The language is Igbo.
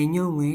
enyowe?